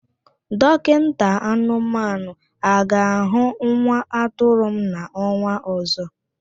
Dọkinta anụmanụ a ga-ahụ nwa atụrụ m n'ọnwa ọzọ?